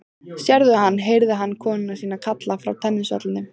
Sérðu hann? heyrði hann konu sína kalla frá tennisvellinum.